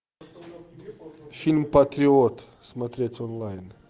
фильм патриот смотреть онлайн